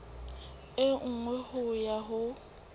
e nngwe ho ya ho